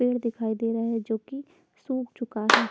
पेड़ दिखाई दे रहे है जो की सुख चूका है।